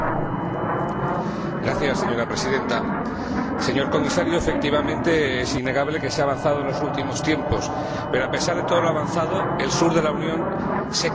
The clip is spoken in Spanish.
Señora Presidenta, señor Comisario, efectivamente, es innegable que se ha avanzado en los últimos tiempos, pero, a pesar de todo lo avanzado, el sur de la Unión se quema y se quema cada vez más.